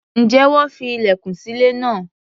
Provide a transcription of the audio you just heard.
Ǹjẹ́ wọ́n fi ilẹ̀kùn sí ilé náà?